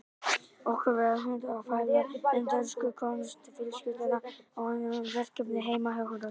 Okkur var úthlutað að fjalla um dönsku konungsfjölskylduna og unnum verkefnið heima hjá Hrönn.